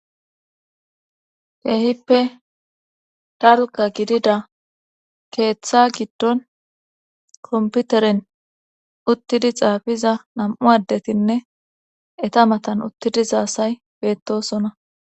keehippe dalga gidida keeththa giddon komputeren uttidi xaafiza nam7u addetinne eta matan uttidi za asay beettosona